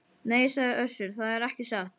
Nei, sagði Össur,- það er ekki satt.